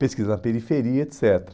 pesquisa na periferia, et cetera.